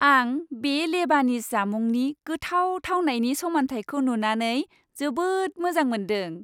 आं बे लेबानिज जामुंनि गोथाव थावनायनि समान्थायखौ नुनानै जोबोद मोजां मोनदों।